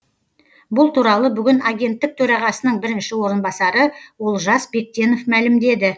бұл туралы бүгін агенттік төрағасының бірінші орынбасары олжас бектенов мәлімдеді